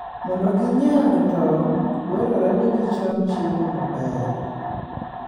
Mondo ginyag tong', dwarore ni gicham chiemo maber.